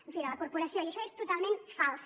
en fi de la corporació i això és totalment fals